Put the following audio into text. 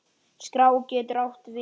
Skrá getur átt við